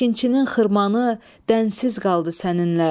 Əkinçinin xırmanı dənsiz qaldı səninlə.